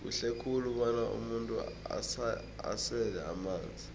kuhle khulu bona umuntu asele amanzi